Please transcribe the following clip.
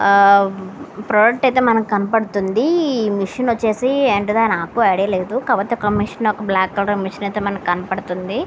ఒక ప్రోడక్ట్ అయితే మనకు కనబడుతుంది మిషన్ వచ్చేసి ఎక్కడో నాకు ఐడియా లేదు మిషను ఒక బ్లాక్ కలర్ మిషన్ అయితే మనకు కనబడుతుంది.